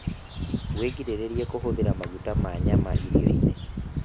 wĩgirĩrĩrie kuhuthira maguta ma nyamu irio-ini